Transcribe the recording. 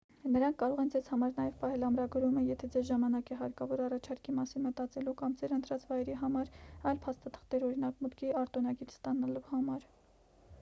նրանք կարող են ձեզ համար նաև պահել ամրագրումը եթե ձեզ ժամանակ է հարկավոր առաջարկի մասին մտածելու կամ ձեր ընտրած վայրի համար այլ փաստաթղթեր օրինակ՝ մուտքի արտոնագիր ստանալու համար: